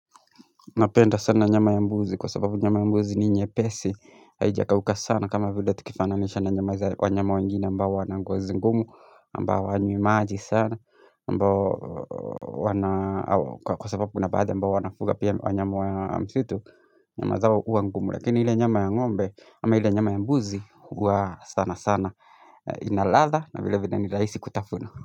Napenda sana nyama ya mbuzi kwa sababu nyama ya mbuzi ni nyepesi haijakauka sana kama vile tukifananisha na nyama za wanyama wengine ambao wana ngozi ngumu ambao hawanywi maji sana ambao wana kwa sababu na baadha ambao wanafuga pia wanyama wa msitu nyama zao huwa ngumu lakini ile nyama ya ngombe ama ile nyama ya mbuzi huwa sana sana ina ladha na vile vile ni rahisi kutafuna.